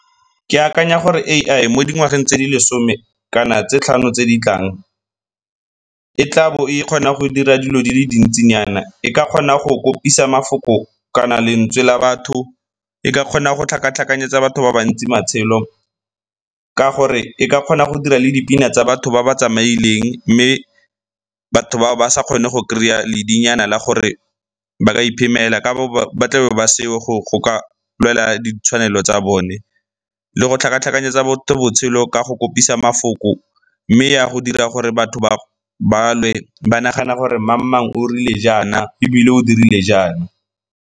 Ke akanya gore A_I mo dingwageng tse di lesome kana tse tlhano tse di tlang e tlabo e kgona go dira dilo di le dintsinyana, e ka kgona go kopisa mafoko kana lentswe la batho, e ka kgona go tlhakatlhakanyetsa batho ba bantsi matshelo ka gore e ka kgona go dira le dipina tsa batho ba ba tsamaileng. Mme batho bao ba sa kgone go kry-a ledi nyana la gore ba ka iphemela ka ba tlabe ba seo go ka lwela ditshwanelo tsa bone le go tlhakatlhakanyetsa motho botshelo ka go kopisa mafoko mme ya go dira gore batho ba lwe ba nagana gore mang le mang o rile jaana ebile o dirile jaana.